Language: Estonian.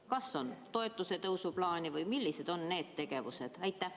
Kas on toetuste tõstmise plaani või millised on kavas olevad tegevused?